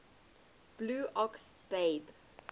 blue ox babe